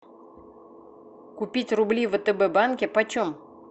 купить рубли в втб банке почем